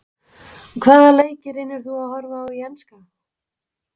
Hvaða leiki reynir þú að horfa á í enska?